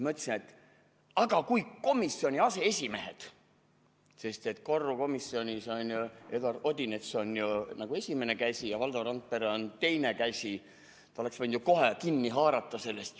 Ma ütlesin, et komisjoni aseesimehed – korrukomisjonis on ju Eduard Odinets n-ö esimene käsi ja Valdo Randpere on teine käsi – oleks võinud ju kohe kinni haarata sellest.